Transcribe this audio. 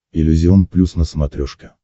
иллюзион плюс на смотрешке